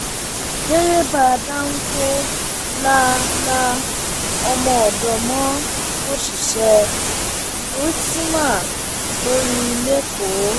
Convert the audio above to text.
derébà dánfọ la la ọmọọdọ mọ òṣìṣẹ rstma lórí lẹkọọ